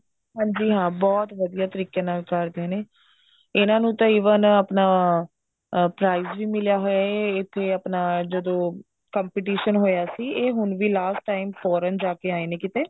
ਹਾਂਜੀ ਹਾਂ ਬਹੁਤ ਵਧੀਆ ਤਰੀਕੇ ਨਾਲ ਕਰਦੇ ਨੇ ਇਹਨਾ ਨੂੰ ਤਾਂ even ਆਪਣਾ ਅਹ prize ਵੀ ਮਿਲਿਆ ਹੋਇਆ ਇਹ ਇੱਥੇ ਆਪਣਾ ਜਦੋਂ competition ਹੋਇਆ ਸੀ ਇਹ ਹੁਣ ਵੀ last time foreign ਜਾ ਕੇ ਆਏ ਨੇ ਕਿਤੇ